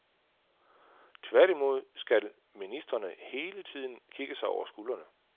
Tværtimod skal ministrene hele tiden kigge sig over skuldrene.